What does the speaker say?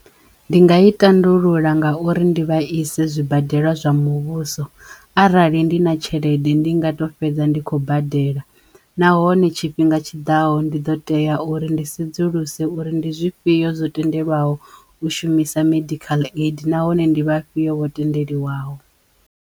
Ndi nga i tandulula ngauri ndi vha ise zwibadela zwa muvhuso arali ndi na tshelede ndi nga to fhedza ndi khou badela nahone tshifhinga tshiḓaho ndi ḓo teya uri ndi sedzuluse uri ndi zwifhiyo zwo tendelwaho u shumisa medical aid nahone ndi vhafhio vho tendeliwaho.